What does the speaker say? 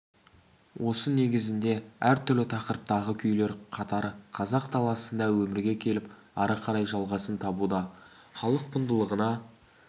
осы негізде әртүрлі тақырыптағы күйлер қатары қазақ даласында өмірге келіп ары қарай жалғасын табуда халық құндылығына